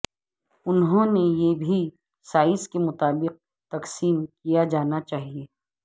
انہوں نے یہ بھی سائز کے مطابق تقسیم کیا جانا چاہئے